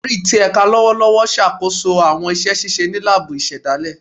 Ori ti ẹka lọwọlọwọ n ṣakoso awọn iṣẹ ṣiṣe ni laabu isedale